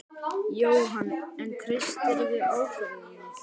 Jóhann: En treystirðu ákvörðuninni?